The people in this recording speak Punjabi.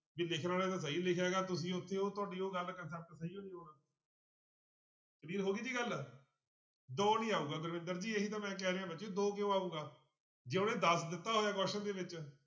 ਵੀ ਲਿਖਣ ਵਾਲੇ ਨੇ ਸਹੀ ਲਿਖਿਆ ਗਾ ਤੁਸੀਂ ਉੱਥੇ ਉਹ ਤੁਹਾਡੀ ਉਹ ਗੱਲ concept ਸਹੀ ਨੀ ਹੋਣਾ clear ਹੋ ਗਈ ਜੀ ਗੱਲ, ਦੋ ਨੀ ਆਊਗਾ ਗੁਰਵਿੰਦਰ ਜੀ ਇਹੀ ਤਾਂ ਮੈਂ ਕਹਿ ਰਿਹਾਂ ਬੱਚੇ ਦੋ ਕਿਉਂ ਆਊਗਾ, ਜੇ ਉਹਨੇ ਦਸ ਦਿੱਤਾ ਹੋਇਆ question ਦੇ ਵਿੱਚ।